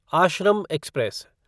Ashram express